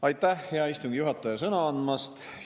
Aitäh, hea istungi juhataja, sõna andmast!